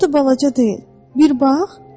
Çox da balaca deyil, bir bax.